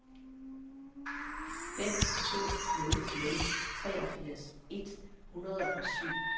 fem to nul nul treogfirs et hundrede og syv